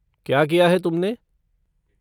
क्या किया है तुमने?